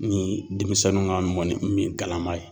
Ni denmisɛnninw ka mɔnni min galama ye.